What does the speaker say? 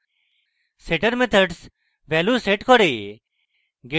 setter methods value set করে